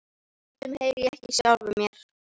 Stundum heyri ég ekki í sjálfum mér.